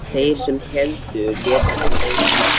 Þeir sem héldu létu hann lausan.